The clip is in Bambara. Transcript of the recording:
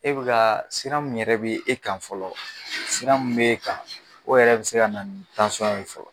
E bɛ kaa siran min yɛrɛ be e kan fɔlɔ siran min b'e kan o yɛrɛ bi se kana ni fɔlɔ.